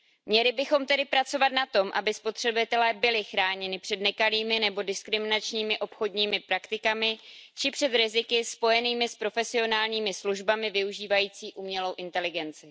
Měli bychom tedy pracovat na tom, aby spotřebitelé byli chráněni před nekalými nebo diskriminačními obchodními praktikami či před riziky spojenými s profesionálními službami využívajícími umělou inteligenci.